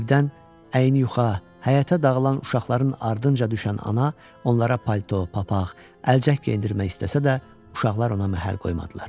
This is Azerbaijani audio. Evdən əyni yuxa, həyətə dağılan uşaqların ardınca düşən ana onlara palto, papaq, əlcək geyindirmək istəsə də, uşaqlar ona məhəl qoymadılar.